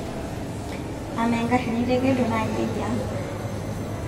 amaa engarri nitekedo naa kejii aa